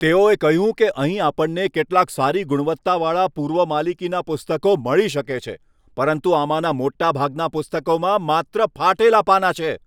તેઓએ કહ્યું કે અહીં આપણને કેટલાંક સારી ગુણવત્તાવાળાં પૂર્વ માલિકીનાં પુસ્તકો મળી શકે છે પરંતુ આમાંનાં મોટાભાગનાં પુસ્તકોમાં માત્ર ફાટેલાં પાનાં છે.